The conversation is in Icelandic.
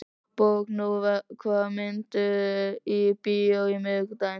Borgný, hvaða myndir eru í bíó á miðvikudaginn?